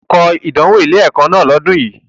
O gbúdọ̀ kọ ìdánwò ilé-ẹ̀kọ́ náà lọ́dùn yi!